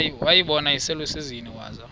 wayibona iselusizini waza